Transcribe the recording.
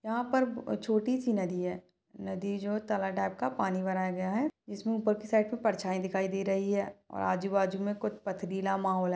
यहाँ पर ब छोटी सी नदी है नदी जो टाइप का पानी भरा गया है इसमें ऊपर की साइड पे परछाई दिखाई दे रही है और आजू -बाजू में कुछ पथरीला माहोल हैं।